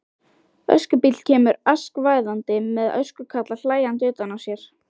Öskubíll kemur askvaðandi með öskukalla hlæjandi utan á sér.